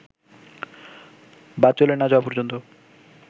বা চলে না-যাওয়া পর্যন্ত